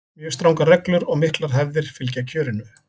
mjög strangar reglur og miklar hefðir fylgja kjörinu